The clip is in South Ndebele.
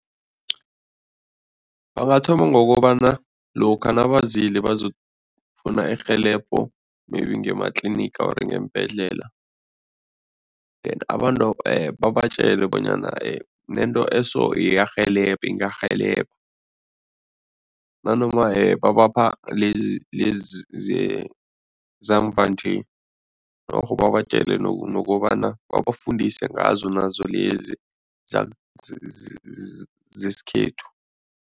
Bangathoma ngokobana lokha nabazile bazokufuna irhelebho, maybe ngema-clinic or ngeembhedlela, abantu babatjele bonyana nento eso iyarhelebha, ingarhelebha nanoma babapha lezi lezi zamva nje norho babatjele nokobana, babafundise ngazo nazo lezi zesikhethu.